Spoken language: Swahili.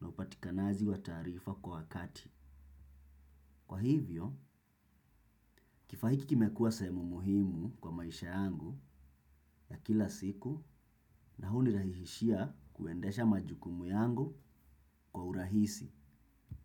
na upatikanaji wa taarifa kwa wakati. Kwa hivyo, kifaa hiki kimekuwa sehemu muhimu kwa maisha yangu ya kila siku na hunirahisishia kuendesha majukumu yangu kwa urahisi.